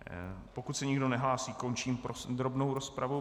Pokud se nikdo nehlásí, končím podrobnou rozpravu.